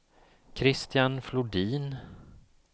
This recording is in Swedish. Kristian Flodin